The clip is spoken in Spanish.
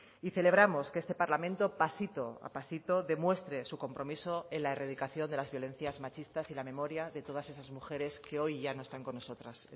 y celebramos que este parlamento pasito a pasito demuestre su compromiso en la erradicación de las violencias machistas y la memoria de todas esas mujeres que hoy ya no están con nosotras